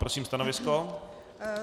Prosím stanovisko.